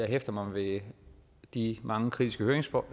hæfter mig ved de mange kritiske høringssvar